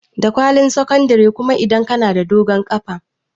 Da kwalin sakandare kuma idan ka na da dogon ƙafa